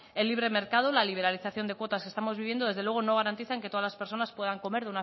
el libre mercado la liberalización de cuotas que estamos viviendo desde luego no garantiza en que todas las personas puedan comer